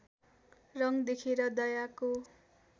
रङ देखेर दयाको